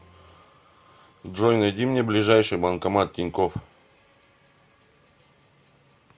джой найди мне ближайший банкомат тинькофф